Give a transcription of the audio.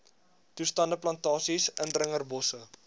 toestande plantasies indringerbosse